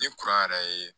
Ni kuran yɛrɛ ye